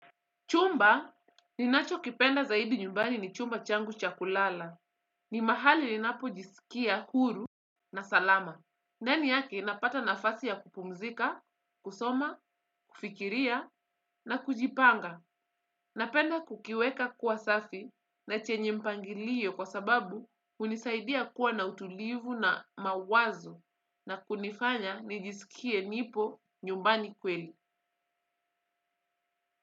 Chumba ninachokipenda zaidi nyumbani ni chumba changu cha kulala. Ni mahali ninapojisikia huru na salama. Ndani yake napata nafasi ya kupumzika, kusoma, kufikiria na kujipanga. Napenda kukiweka kuwa safi na chenye mpangilio kwa sababu hunisaidia kuwa na utulivu na mawazo na kunifanya nijisikie nipo nyumbani kweli.